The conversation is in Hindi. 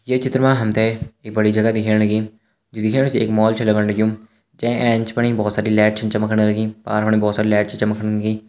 ये चित्र मा हम ते एक बड़ी जगह दिखेण लगीं जु दिखेण से एक मॉल छ लगण लग्युं जै एंच फणी बहोत सारी लैट छ चमकण लगीं पार फणा बहोत सारी लैट छ चमकण लगीं।